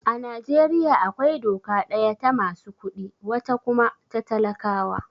A Najeriya akwai doka daya ta masu kuɗi, wata kuma ta talakawa.